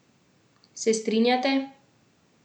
Se strinjate?